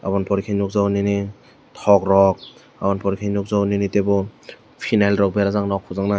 obo ni pore ke nogjago nini tok rok aboni pore ke nogjago nini tebo pheny rok berajak nog hojaknai.